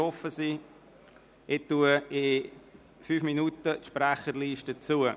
Ich schliesse in fünf Minuten die Sprecherliste.